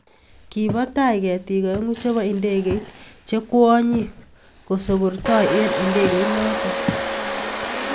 Kibo tai ketiik aeng'u chebo indegeit che kwonyiik kosokortoi eng indegonotok.